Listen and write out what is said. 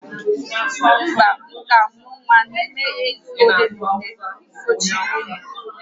Mba, m ga-amụ nwa n'ime izu ole na ole sochirinụ